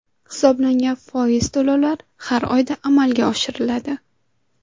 Hisoblangan foiz to‘lovlar har oyda amalga oshiriladi.